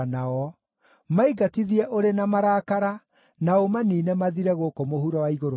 Maingatithie ũrĩ na marakara, na ũmaniine mathire gũkũ mũhuro wa igũrũ rĩa Jehova.